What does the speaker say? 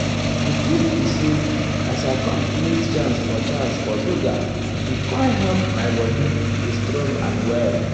di truth be say as i com create chance for chance for yoga e com help my body dey strong and well.